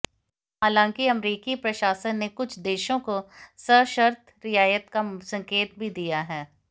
हालांकि अमेरिकी प्रशासन ने कुछ देशों को सशर्त रियायत का संकेत भी दिया है